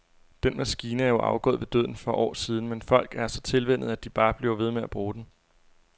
Den maskine er jo afgået ved døden for år siden, men folk er så tilvænnet, at de bare bliver ved med at bruge den.